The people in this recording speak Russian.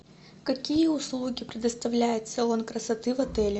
какие услуги предоставляет салон красоты в отеле